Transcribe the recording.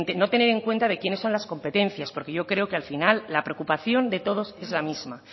no tener en cuenta de quiénes son las competencias porque yo creo que al final la preocupación de todos es la misma